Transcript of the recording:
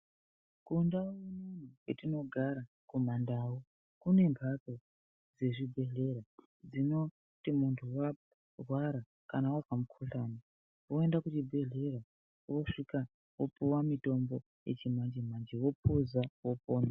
Kundau unono kwetinogara kumandau, kune mphatso dzezvibhedhlera dzinoti munthu wairwara, kana wazwa mukhuhlani woenda kuchibhedhlera wooguma wopuwa mitombo yechi manje-manje wophuza, wopona.